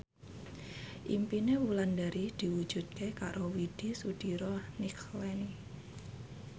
impine Wulandari diwujudke karo Widy Soediro Nichlany